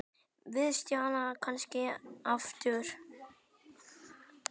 Við sjáumst kannski aftur.